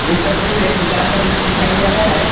इस तस्वीर में एक दुकान का दृश्य दिखाई दे रहा है।